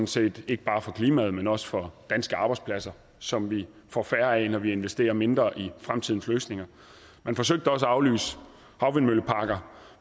set ikke bare for klimaet men også for danske arbejdspladser som vi får færre af når vi investerer mindre i fremtidens løsninger man forsøgte også at aflyse havvindmølleparker